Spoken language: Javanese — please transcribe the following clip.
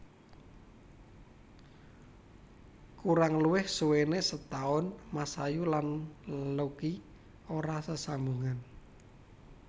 Kurang luwih suwené setaun Masayu lan Lucky ora sesambungan